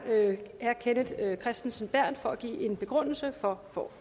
kenneth kristensen berth for at give en begrundelse for